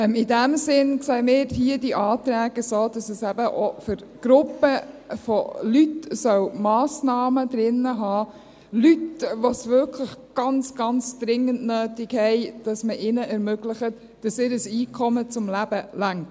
In diesem Sinn sehen wir es bei diesen Anträgen hier auch so, dass es eben auch für Gruppen und Leute Massnahmen enthalten soll – für Leute, die es wirklich ganz, ganz dringend nötig haben, dass man ihnen ermöglicht, dass ihr Einkommen zum Leben reicht.